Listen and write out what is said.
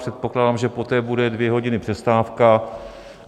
Předpokládám, že poté bude dvě hodiny přestávka.